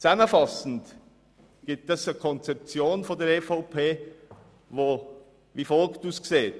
Zusammenfassend ergibt das eine Konzeption der EVP, die wie folgt aussieht: